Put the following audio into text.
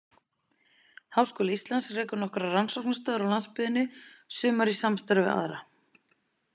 Háskóli Íslands rekur nokkrar rannsóknastöðvar á landsbyggðinni, sumar í samstarfi við aðra.